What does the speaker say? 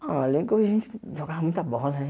Ah, lembro que a gente jogava muita bola, né?